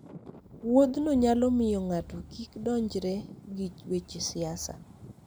Wuodhno nyalo miyo ng'ato kik donjre gi weche siasa.